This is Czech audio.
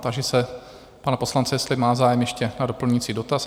Táži se pana poslance, jestli má zájem ještě o doplňující dotaz?